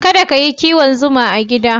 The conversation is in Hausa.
Kada ka yi kiwon zuma a gida.